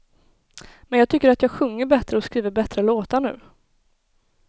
Men jag tycker att jag sjunger bättre och skriver bättre låtar nu.